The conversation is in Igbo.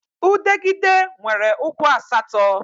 Udegịde nwere ụkwụ asatọ